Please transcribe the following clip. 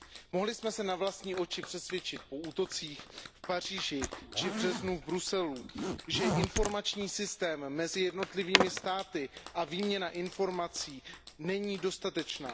Mohli jsme se na vlastní oči přesvědčit po útocích v Paříži či v březnu v Bruselu, že informační systém mezi jednotlivými státy a výměna informací není dostatečná.